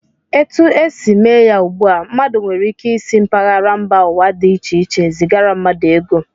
Etu e si mee ya ugbu a, mmadụ nwere ike isi mpaghara mba ụwa dị iche iche zigara mmadụ ego